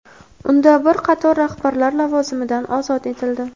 Unda bir qator rahbarlar lavozimidan ozod etildi.